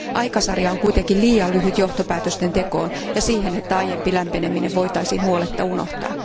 Aikasarja on kuitenkin liian lyhyt johtopäätösten tekoon ja siihen, että aiempi lämpeneminen voitaisiin huoletta unohtaa.